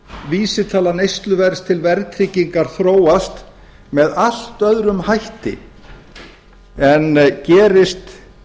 vísitala neysluverðs til verðtryggingar þróast með allt öðrum hætti en gerist